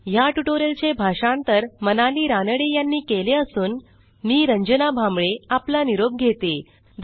160ह्या ट्युटोरियलचे भाषांतर मनाली रानडे यांनी केले असून मी रंजना भांबळे आपला निरोप घेते